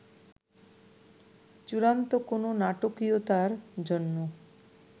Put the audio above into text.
চূড়ান্ত কোনো নাটকীয়তার জন্য